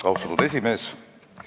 Austatud esimees!